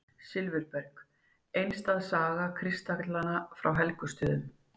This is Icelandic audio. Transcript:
Silfurberg: einstæð saga kristallanna frá Helgustöðum.